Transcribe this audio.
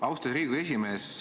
Austatud Riigikogu esimees!